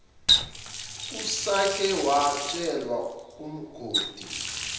usake watshelwa ungoti